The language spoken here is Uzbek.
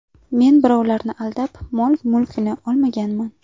Men birovlarni aldab, mol-mulkini olmaganman.